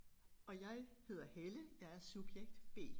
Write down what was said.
Og jeg hedder Helle jeg er subjekt B